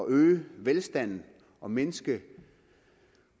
øge velstanden og mindske